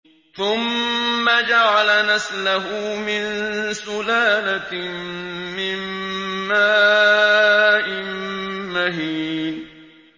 ثُمَّ جَعَلَ نَسْلَهُ مِن سُلَالَةٍ مِّن مَّاءٍ مَّهِينٍ